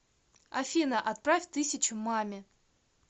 афина отправь тысячу маме